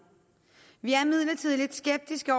vi er imidlertid lidt skeptiske